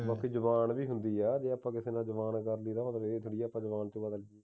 ਬਾਕੀ ਜ਼ਬਾਨ ਵੀ ਹੁੰਦੀ ਹੈ ਜੇ ਆਪਾਂ ਕਿਸੇ ਨਾਲ ਜੁਬਾਨ ਕਰ ਲਈ ਤਾਂ ਇਹਦਾ ਮਤਲਬ ਇਹ ਤਾਂ ਨਹੀਂ ਆਪਾਂ ਜੁਬਾਨ ਤੋਂ ਬਦਲ ਲਈਏ